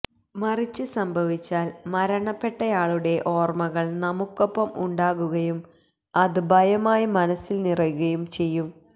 മറിച്ച് സംഭവിച്ചാല് മരണപ്പെട്ടയാളുടെ ഓര്മ്മകള് നമ്മുക്കൊപ്പം ഉണ്ടാകുകയും അത് ഭയമായി മനസില് നിറയുകയും ചെയ്യും